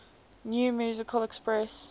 new musical express